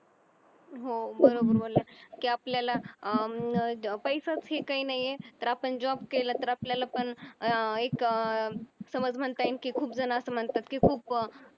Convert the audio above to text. हो बरोबर बोलल्या की आपल्याला अं पैसाच हे काय नाहीये आपण तर job केला तर आपल्याला पण अं एक समज म्हणता येईल की खूप जण असं म्हणतात की खूप